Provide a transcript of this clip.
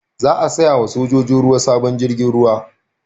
Za a saya ma sojojin ruwa sabon jirgin ruwa